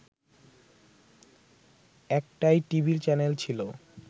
একটাই TV channel ছিল